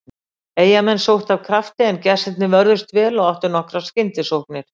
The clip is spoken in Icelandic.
Eyjamenn sóttu af krafti, en gestirnir vörðust vel og áttu nokkrar skyndisóknir.